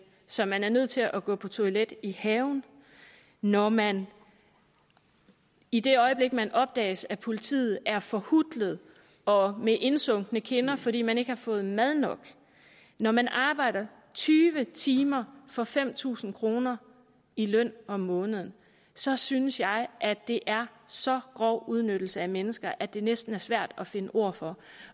så man er nødt til at gå på toilettet i haven når man i det øjeblik man opdages af politiet er forhutlet og med indsunkne kinder fordi man ikke har fået mad nok når man arbejder tyve timer for fem tusind kroner i løn om måneden så synes jeg at det er så grov udnyttelse af mennesker at det næsten er svært at finde ord for